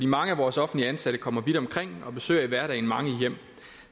mange af vores offentligt ansatte kommer vidt omkring og besøger i hverdagen mange hjem